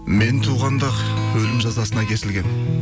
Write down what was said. мен туғанда ақ өлім жазасына кесілгенмін